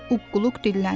Uqquqluq dilləndi.